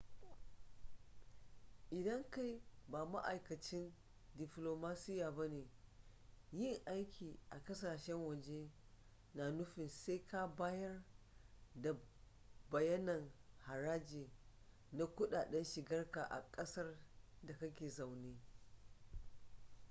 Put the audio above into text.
idan kai ba ma'aikacin diflomasiya ba ne yin aiki a kasashen waje na nufin sai ka bayar da bayanan haraji na kudaden shigarka a kasar da kake zaune